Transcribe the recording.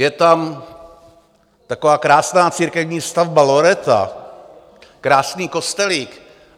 Je tam taková krásná církevní stavba, loreta, krásný kostelík.